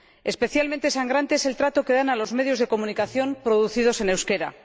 Especialmente sangrante es el trato que dan a los medios de comunicación producidos en euskera.